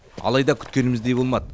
алайда күткеніміздей болмады